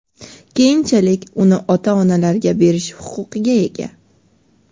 keyinchalik uni ota-onalarga berish huquqiga ega.